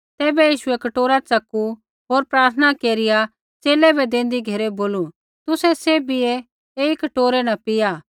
तैबै यीशुऐ कटोरा च़कू होर प्रार्थना केरिया च़ेले बै देंदी घेरै बोलू तुसै सैभियै ऐई कटोरै न पीआ